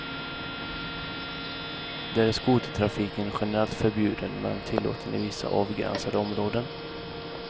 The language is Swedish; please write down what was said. Där är skotertrafiken generellt förbjuden, men tillåten i vissa avgränsade områden.